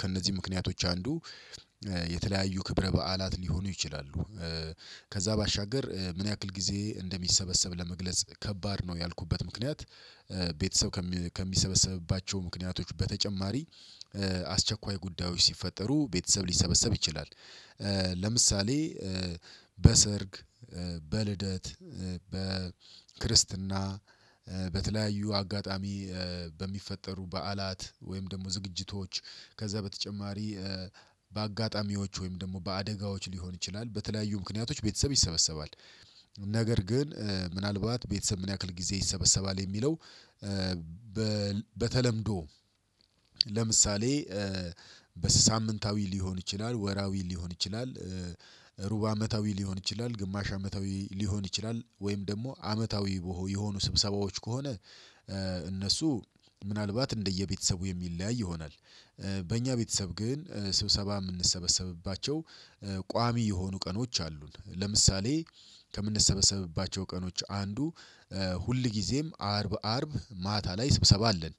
ከእነዚህ ምክንያቶች አንዱ የተለያዩ ክብረ በዓላት ሊሆኑ ይችላሉ። ከዛ ባሻገር ምን ያክል ጊዜ እንደሚሰበሰብ ለመግለጽ ከባድ ነው ያልኩበት ምክንያት። ቤተሰብ ከሚሰበሰብባቸው ምክንያቶች በተጨማሪ አስቸኳይ ጉዳዮች ሲፈጠሩ ቤተሰብ ሊሰበሰብ ይችላል። ለምሳሌ በሰርግ በልደት በክርስትና በተለያዩ አጋጣሚ በሚፈጠሩ በዓላት ወይም ደግሞ ዝግጅቶች ከዛ በተጨማሪ በአጋጣሚዎች ወይም ደግሞ በአደጋዎች ሊሆን ይችላል በተለያዩ ምክንያቶች ቤተሰብ ይሰበሰባል። ነገር ግን ምናልባት ቤተሰብ ምን ያክል ጊዜ ይሰበሰባል የሚለው? በተለምዶ ለምሳሌ በሳምንታዊ ሊሆን ይችላል ወራዊ ሊሆን ይችላል። ሩብ አመታዊ ሊሆን ይችላል ግማሽ አመታዊ ሊሆን ይችላል ወይም ደግሞ አመታዊ የሆኑ ስብሰባዎች ከሆነ እነሱ ምናልባት እንደየቤተሰቡ የሚለያይ ይሆናል። በእኛ ቤተሰብ ግን ስብሰባ የምንሰበሰብባቸው ቋሚ የሆኑ ቀኖች አሉን ለምሳሌ ከምንሰበሰብባቸው ቀኖች አንዱ ሁል ጊዜም አርብ አርብ ማታ ላይ ስብሰባ አለን።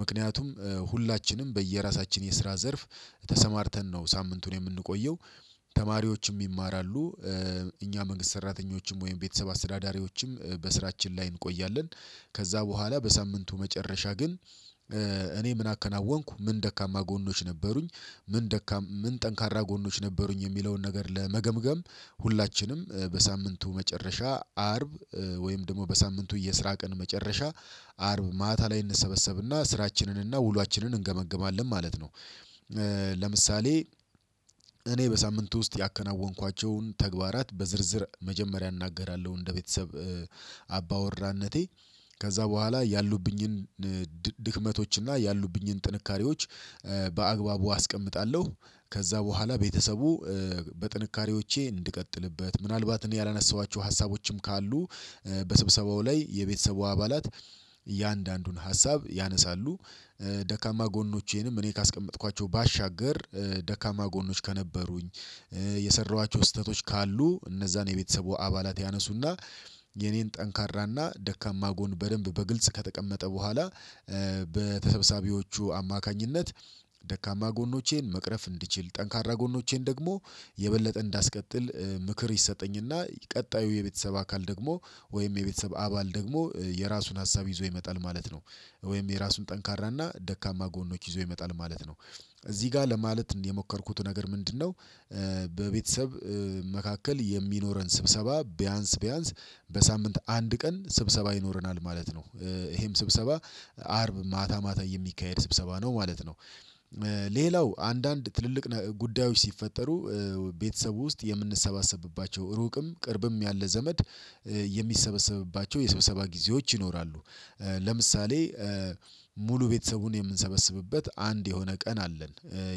ምክንያቱም ሁላችንም በየራሳችን የስራ ዘርፍ ተሰማርተን ነው ሳምንቱን የምንቆየው ተማሪዎችም ይማራሉ እኛ መንግስት ሰራተኞችም ወይም ቤተሰብ አስተዳዳሪዎችም በስራችን ላይ እንቆያለን። ከዛ በኋላ በሳምንቱ መጨረሻ ግን እኔ ምን አከናወንኩ ምን ደካማ ጎኖች ነበሩኝ። ምን ደካም ምን ጠንካራ ጎኖች ነበሩኝ የሚለውን ነገር ለመገምገም ሁላችንም በሳምንቱ መጨረሻ አርብ ወይም ደግሞ በሳምንቱ የስራ ቀን መጨረሻ አርብ ማታ ላይ እንሰበሰብና ስራችንንና ውሏችንን እንገመግማለን ማለት ነው። ለምሳሌ እኔ በሳምንቱ ውስጥ ያከናወንኳቸውን ተግባራት በዝርዝር መጀመሪያ እናገራለሁ እንደ ቤተሰብ አባወራነቴ ከዛ በኋላ ያሉብኝን ድክመቶች እና ያሉብኝን ጥንካሬዎች በአግባቡ አስቀምጣለሁ። ከዛ በኋላ ቤተሰቡ በጥንካሬዎቼ እንድቀጥልበት ምናልባት እኔ ያላነሳኋቸው ሀሳቦችም ካሉ በስብሰባው ላይ የቤተሰቡ አባላት እያንዳንዱን ሀሳብ ያነሳሉ። ደካማ ጎኖቼንም እኔ ካስቀመጥኳቸው ባሻገር ደካማ ጎኖች ከነበሩኝ የሰራኋቸው ስህተቶች ካሉ እነዛን የቤተሰቡ አባላት ያነሱና የኔን ጠንካራና ደካማ ጎን በደንብ በግልጽ ከተቀመጠ በኋላ በተሰባሳቢዎቹ አማካኝነት ደካማ ጎኖቼን መቅረፍ እንድችል ጠንካራ ጎኖቼን ደግሞ የበለጠ እንዳስቀጥል ምክር ይሰጠኝና ቀጣዩ የቤተሰብ አካል ደግሞ ወይም የቤተሰብ አባል ደግሞ የራሱን ሀሳብ ይዞ ይመጣል። ማለት ነው ወይም የራሱን ጠንካራና ደካማ ጎኖች ይዞ ይመጣል ማለት ነው። እዚህ ጋር ለማለት እንደ የሞከርኩት ነገር ምንድነው? በቤተሰብ መካከል የሚኖረን ስብሰባ ቢያንስ ቢያንስ በሳምንት አንድ ቀን ስብሰባ ይኖረናል ማለት ነው ይሄም ስብሰባ አርብ ማታ ማታ የሚካሄድ ስብሰባ ነው ማለት ነው። ሌላው አንዳንድ ትልልቅ ጉዳዮች ሲፈጠሩ ቤተሰቡ ውስጥ የምንሰባሰብባቸው ሩቅም ቅርብም ያለ ዘመድ የሚሰበሰብባቸው የሰብሰባ ጊዜዎች ይኖራሉ። ለምሳሌ ሙሉ ቤተሰቡን የምንሰበስብበት አንድ የሆነ ቀን አለን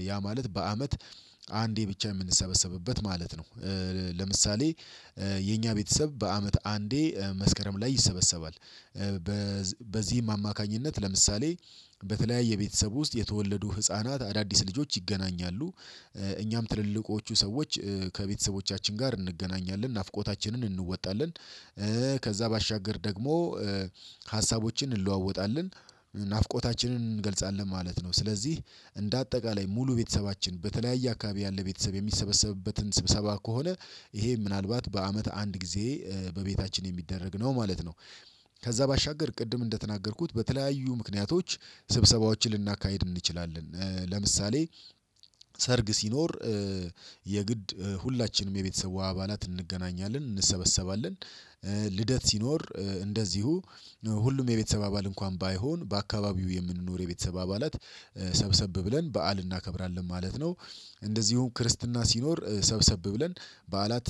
ያ ማለት በአመት አንዴ ብቻ የምንሰበሰብበት ማለት ነው ለምሳሌ የኛ ቤተሰብ በአመት አንዴ መስከረም ላይ ይሰበሰባል። በዚህም አማካኝነት ለምሳሌ በተለያየ ቤተሰብ ውስጥ የተወለዱ ህፃናት አዳዲስ ልጆች ይገናኛሉ እኛም ትልልቆቹ ሰዎች ከቤተሰቦቻችን ጋር እንገናኛለን ናፍቆታችንን እንወጣለን። ከዛ ባሻገር ደግሞ ሀሳቦችን እንለዋወጣለን ናፍቆታችንን እንገልጻለን ማለት ነው። ስለዚህ እንደ አጠቃላይ ሙሉ ቤተሰባችን በተለያየ አካባቢ ያለ ቤተሰብ የሚሰበሰብበትን ስብሰባ ከሆነ ይሄ ምናልባት በአመት አንድ ጊዜ በቤታችን የሚደረግ ነው ማለት ነው። ከዛ ባሻገር ቅድም እንደተናገርኩት በተለያዩ ምክንያቶች ስብሰባዎችን ልናካሂድ እንችላለን ለምሳሌ ሰርግ ሲኖር የግድ ሁላችንም የቤተሰቡ አባላት እንገናኛለን እንሰበሰባለን። ልደት ሲኖር እንደዚሁ ሁሉም የቤተሰብ አባላት እንኳን ባይሆን በአካባቢው የምንኖር የቤተሰብ አባላት ሰብሰብ ብለን በዓል እናከብራለን ማለት ነው። እንደዚሁም ክርስትና ሲኖር ሰብሰብ ብለን በዓላት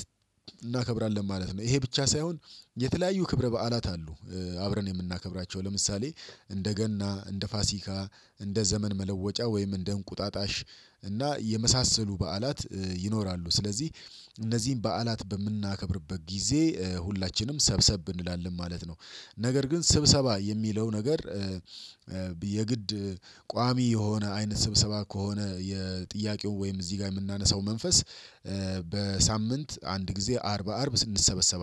እናከብራለን ማለት ነው። ይሄ ብቻ ሳይሆን የተለያዩ ክብረ በዓላት አሉ አብረን የምናከብራቸው ለምሳሌ እንደ ገና እንደ ፋሲካ እንደ ዘመን መለወጫ ወይም እንደ እንቁጣጣሽ እና የመሳሰሉ በዓላት ይኖራሉ። ስለዚህ እነዚህን በዓላት በምናከብርበት ጊዜ ሁላችንም ሰብሰብ እንላለን ማለት ነው። ነገር ግን ስብሰባ የሚለው ነገር የግድ ቋሚ የሆነ አይነት ስብሰባ ከሆነ የጥያቄው ወይም እዚህ ጋር የምናነሳው መንፈስ በሳምንት አንድ ጊዜ አርብ አርብ ስንሰበሰብ